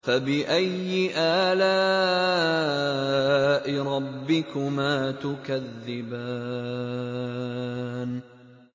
فَبِأَيِّ آلَاءِ رَبِّكُمَا تُكَذِّبَانِ